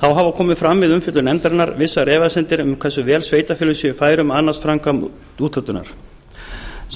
þá hafa komið fram við umfjöllun nefndarinnar vissar efasemdir um hversu vel sveitarfélögin séu fær um að annast framkvæmd úthlutunar